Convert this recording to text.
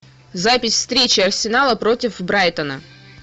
запись встречи арсенала против брайтона